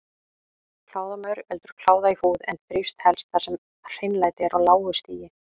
Kláðamaur veldur kláða í húð en þrífst helst þar sem hreinlæti er á lágu stigi.